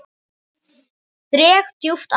Dreg djúpt andann.